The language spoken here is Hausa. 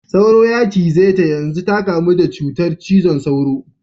Sauro ya cize ta yanzu ta kamu da cutar cizon sauro.